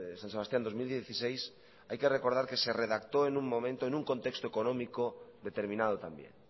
san sebastián dos mil dieciséis hay que recordar que se redactó en un contexto económico determinado también